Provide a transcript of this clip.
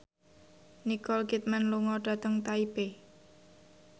Nicole Kidman lunga dhateng Taipei